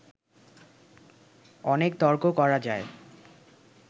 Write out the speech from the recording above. অনেক তর্ক করা যায়